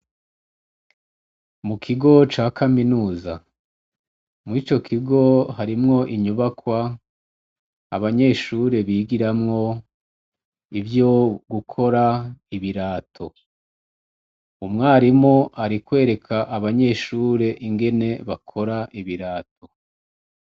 Mu kigo ca kaminuza, mwico kigo harimw' inyubakw' abanyeshure bigiramw' ivyo gukor' ibirato, umwarim' arikwerek 'abanyeshur' ingene bakor' ibirato.